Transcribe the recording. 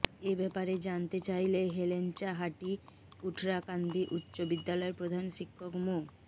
এ ব্যাপারে জানতে চাইলে হেলেঞ্চাহাঠী কুঠরাকান্দি উচ্চ বিদ্যালয়ের প্রধান শিক্ষক মো